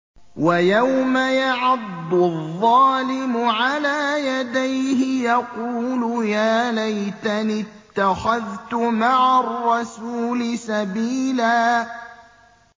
وَيَوْمَ يَعَضُّ الظَّالِمُ عَلَىٰ يَدَيْهِ يَقُولُ يَا لَيْتَنِي اتَّخَذْتُ مَعَ الرَّسُولِ سَبِيلًا